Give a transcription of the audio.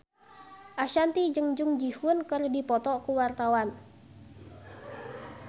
Ashanti jeung Jung Ji Hoon keur dipoto ku wartawan